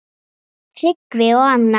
Tryggvi og Anna.